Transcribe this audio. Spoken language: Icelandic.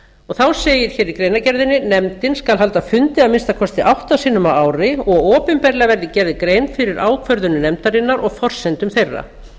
þá segir í greinargerðinni nefndin haldi fundi að minnsta kosti átta sinnum á ári og opinberlega verði gerð grein fyrir ákvörðunum nefndarinnar og forsendum þeirra